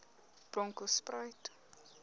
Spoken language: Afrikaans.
bronkhortspruit